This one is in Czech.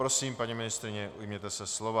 Prosím, paní ministryně, ujměte se slova.